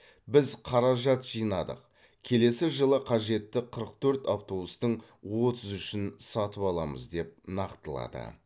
біз қаражат жинадық келесі жылы қажетті қырық төрт автобустың отыз үшін сатып аламыз деп нақтылады